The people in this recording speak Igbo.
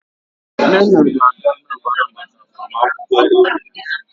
Nnenna ga-aga Anambra maka agbamakwụkwọ enyi ya